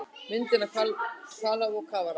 Mynd af hvalháfi og kafara.